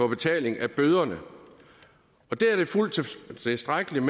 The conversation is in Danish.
betaling af bøderne der er det fuldt tilstrækkeligt